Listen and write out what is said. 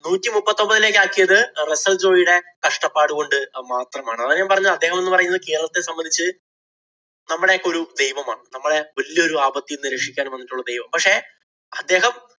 നൂറ്റിമുപ്പത്തിയൊമ്പതിലേക്ക് ആക്കിയത് റസ്സല്‍ ജോയിയുടെ കഷ്ടപ്പാട് കൊണ്ട് മാത്രമാണ്. അതാ ഞാന്‍ പറഞ്ഞത് അദ്ദേഹം എന്നു പറയുന്നത് കേരളത്തിലെ സംബന്ധിച്ച് നമ്മടെ ഒക്കെ ഒരു ദൈവമാണ്‌. നമ്മളെ വല്യ ഒരു ആപത്തില്‍ നിന്ന് രക്ഷിക്കാന്‍ വന്നിട്ടുള്ള ദൈവമാണ്. പക്ഷേ അദ്ദേഹം